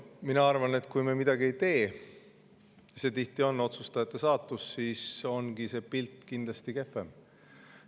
Ma arvan, et see on tihti otsustajate saatus ja kui me midagi ei tee, siis on see pilt kindlasti kehvem.